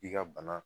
I ka bana